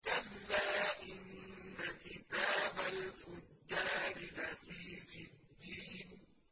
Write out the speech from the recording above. كَلَّا إِنَّ كِتَابَ الْفُجَّارِ لَفِي سِجِّينٍ